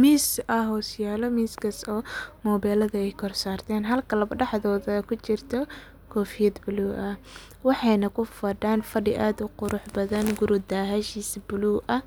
miz ayaa hoos yala oo mobilada ay kor sartan oo labadaxdodha ay kujirta kofiyad buluu ah waxeyna kufadan fadii qurux badan ,gurii dahashisa balug ah.